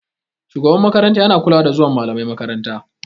Shugaban makaranta yana kulawa da zuwan malamai makaranta.